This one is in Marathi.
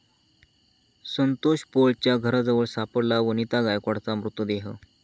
संतोष पोळच्या घराजवळ सापडला वनिता गायकवाडचा मृतदेह